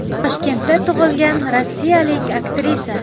Toshkentda tug‘ilgan rossiyalik aktrisa.